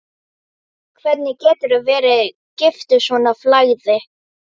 Hvernig geturðu verið giftur svona flagði?